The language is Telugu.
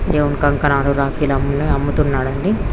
దేవుని కంకణాలు రాకీలు అన్నీ అమ్ముతున్నాడు అండి.